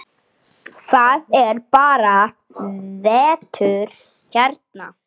Það er bara vetur hérna.